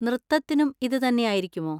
നൃത്തത്തിനും ഇത് തന്നെയായിരിക്കുമോ?